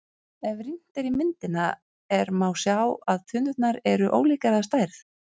Ef rýnt er í myndina er má sjá að tunnurnar eru ólíkar að stærð.